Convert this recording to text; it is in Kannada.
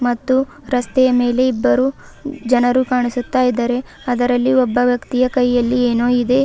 ಮತ್ತು ರಸ್ತೆಯ ಮೇಲೆ ಇಬ್ಬರು ಜನರು ಕಾಣಿಸುತ್ತಾ ಇದ್ದರೆ ಅದರಲ್ಲಿ ಒಬ್ಬ ವ್ಯಕ್ತಿಯ ಕೈಯಲ್ಲಿ ಏನೋ ಇದೆ.